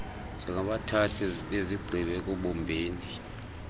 njengabathathi bezigqibo ekubumbeni